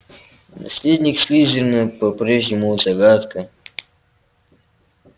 наследник слизерина по-прежнему загадка